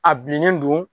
A bilennen don